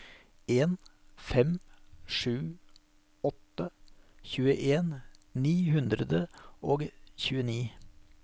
en fem sju åtte tjueen ni hundre og tjueni